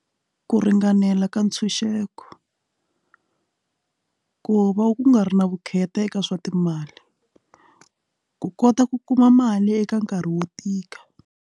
Ku ringanela ka ntshunxeko ku va ku nga ri na vukheta eka swa timali ku kota ku kuma mali eka nkarhi wo tika.